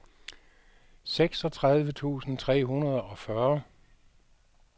seksogtredive tusind tre hundrede og fyrre